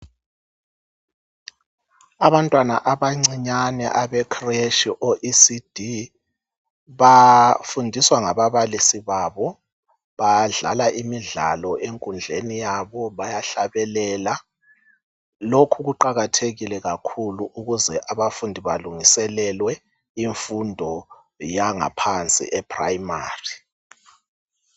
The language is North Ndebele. Abantwana abancinyane abe creshi kumbe Ecd bafundiswa ngaba balisi babo badlala imidlalo enkundleni yabo bayahlabelela. Lokhu kuqakathekile kakhulu ukuze abafundi balungiselelwe imfundo yangaphansi e primary.